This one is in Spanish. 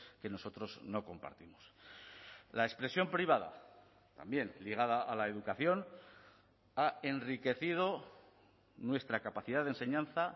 que nosotros no compartimos la expresión privada también ligada a la educación ha enriquecido nuestra capacidad de enseñanza